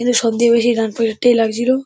কিন্তু সব থেকে বেশি ডান পাশের টাই লাগছিল ।